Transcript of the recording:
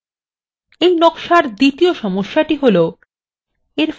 এবং এই নকশার একটি দ্বিতীয় সমস্যা হল: